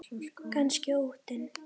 Kannski óttinn.